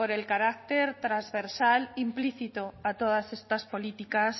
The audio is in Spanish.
el carácter trasversal implícito a todas estas políticas